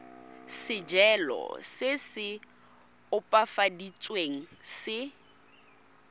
sejalo se se opafaditsweng se